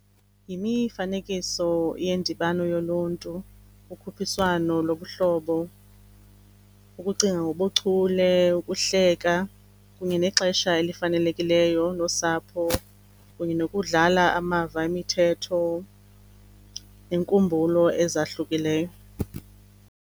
Yimifanekiso yendibano yoluntu, ukhuphiswano lobuhlobo, ukucinga ngobuchule, ukuhleka kunye nexesha elifanelekileyo nosapho kunye nokudlala amava emithetho nenkumbulo ezahlukileyo.